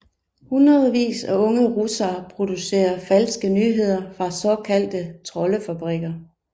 Hundredvis af unge russere producerer falske nyheder fra såkaldte troldefabrikker